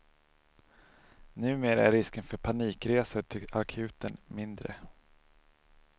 Numera är risken för panikresor till akuten mindre.